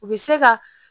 U bɛ se ka